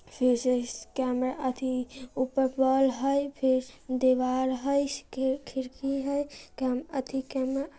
फिर से स्कैनर थी ऊपर बाल है फिर दीवाल है इसकी खिड़की है अति--